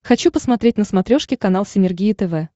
хочу посмотреть на смотрешке канал синергия тв